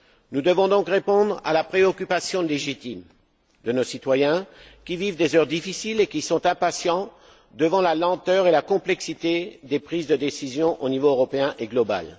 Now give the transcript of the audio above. Nous devons donc répondre à la préoccupation légitime de nos citoyens, qui vivent des heures difficiles et qui sont impatients devant la lenteur et la complexité des prises de décision aux niveaux européen et global.